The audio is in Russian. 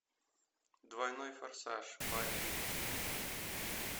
двойной форсаж барри левинсона